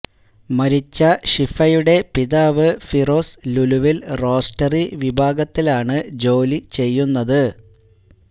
മരിച്ച ഷിഫയുടെ പിതാവ് ഫിറോസ് ലുലുവിൽ റോസ്റ്ററി വിഭാഗത്തിലാണ് ജോലി ചെയ്യുന്നത്